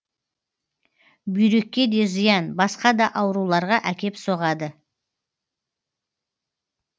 бүйрекке де зиян басқа да ауруларға әкеп соғады